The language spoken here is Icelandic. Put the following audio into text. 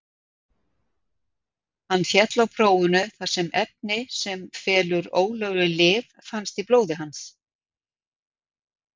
Hann féll á prófinu þar sem efni sem felur ólögleg lyf fannst í blóði hans.